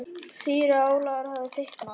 Síra Ólafur hafði fitnað.